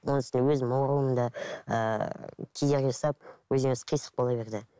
оның үстіне өзім ауруымда ыыы кедергі жасап өзінен өзі қисық бола берді